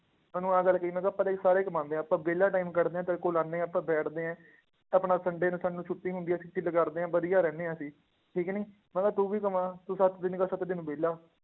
ਮੈਂ ਉਹਨੂੰ ਆਹ ਗੱਲ ਕਹੀ, ਮੈਂ ਕਿਹਾ ਪੈਸੇ ਸਾਰੇ ਕਮਾਉਂਦੇ ਆ ਆਪਾਂ ਵਿਹਲਾ time ਕੱਢਦੇ ਹਾਂ ਤੇਰੇ ਕੋਲ ਆਉਂਦੇ ਹਾਂ ਆਪਾਂ ਬੈਠਦੇ ਹੈ, ਆਪਣਾ sunday ਨੂੰ ਸਾਨੂੰ ਛੁੱਟੀ ਹੁੰਦੀ ਹੈ, ਤੇ ਕਰਦੇ ਹਾਂ ਵਧੀਆ ਰਹਿੰਦੇ ਹਾਂ ਅਸੀਂ, ਠੀਕ ਨੀ, ਮੈਂ ਕਿਹਾ ਤੂੰ ਵੀ ਕਮਾ, ਤੂੰ ਸੱਤ ਦਿਨ ਦਾ ਸੱਤੇ ਦਿਨ ਵਿਹਲਾ